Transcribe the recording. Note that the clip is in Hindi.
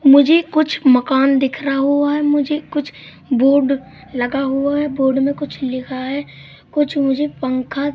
मुझे कुछ मकान दिख रहा हुआ है मुझे कुछ बोर्ड लगा हुआ है बोर्ड में कुछ लिखा है कुछ मुझे पंखा--